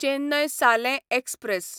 चेन्नय सालें एक्सप्रॅस